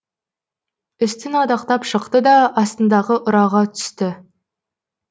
үстін адақтап шықты да астындағы ұраға түсті